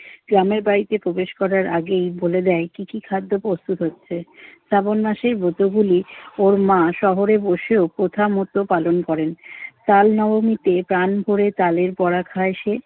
ইসলামের বাড়িতে প্রবেশ করার আগেই বলে দেয় কি কি খাদ্য প্রস্তুত হচ্ছে। শ্রাবণ মাসের ব্রতগুলি ওর মা শহরে বসেও প্রথামত পালন করেন। তাল নবমীতে প্রাণভরে তালের ভরা খায় সে।